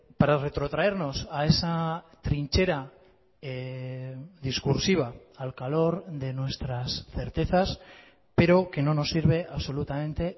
para retrotraernos a esa trinchera discursiva al calor de nuestras certezas pero que no nos sirve absolutamente